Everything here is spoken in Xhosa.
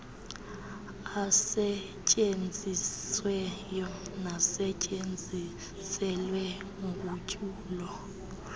asetyenzisiweyo nasetyenziselwe ugutyulo